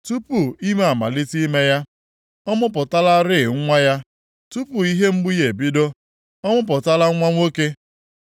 “Tupu ime amalite ime ya, ọ mụpụtalarị nwa ya. Tupu ihe mgbu ya ebido, ọ mụpụtala nwa nwoke.